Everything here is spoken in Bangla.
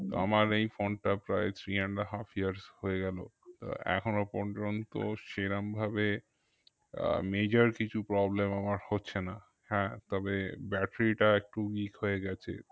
আমার এই phone টা প্রায় three and half years হয়ে গেলো আহ এখনো পর্যন্ত সেরমভাবে আহ major কিছু problem আমার হচ্ছে না হ্যাঁ তবে battery টা একটু weak হয়ে গেছে